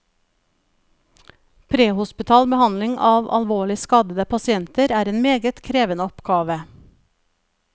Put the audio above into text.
Prehospital behandling av alvorlig skadede pasienter er en meget krevende oppgave.